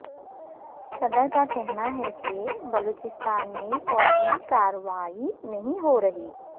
صدر کا کہنا ہے کہ بلوچستان میں فوجی کارروائی نہیں ہو رہی